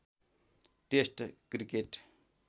test cricket